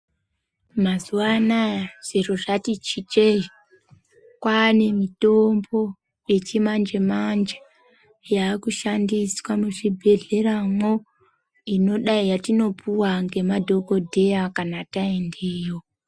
Mazuva anoaya zviro zvati chinjeyi kwava nemutombo wechimanje manje yava kushandiswa muzvibhedhlera mwo inodai yatinopiwa nemadhokodheya kana tapindemwo.